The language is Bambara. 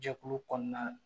Jɛkulu kɔnɔna